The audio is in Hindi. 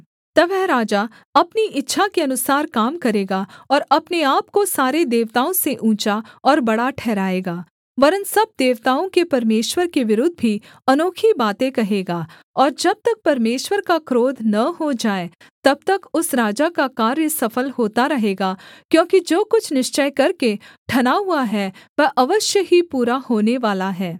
तब वह राजा अपनी इच्छा के अनुसार काम करेगा और अपने आपको सारे देवताओं से ऊँचा और बड़ा ठहराएगा वरन् सब देवताओं के परमेश्वर के विरुद्ध भी अनोखी बातें कहेगा और जब तक परमेश्वर का क्रोध न हो जाए तब तक उस राजा का कार्य सफल होता रहेगा क्योंकि जो कुछ निश्चय करके ठना हुआ है वह अवश्य ही पूरा होनेवाला है